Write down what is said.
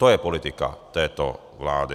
To je politika této vlády.